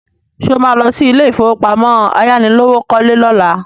Ṣé o má lọ sí ilé ìfowópamọ́ ayánilówókọ́lé lọ́la?